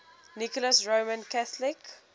nicholas roman catholic